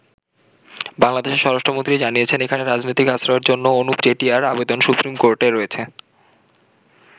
বাংলাদেশের স্বরাষ্ট্রমন্ত্রী জানিয়েছেন, এখানে রাজনৈতিক আশ্রয়ের জন্য অনুপ চেটিয়ার আবেদন সুপ্রিম কোর্টে রয়েছে।